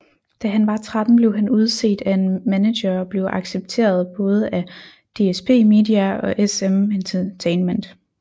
Da han var 13 blev han udset af en maneger og blev accepteret både af DSp media og SM Entertainment